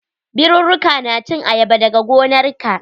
Birurruka na cin ayaba dag gonarka.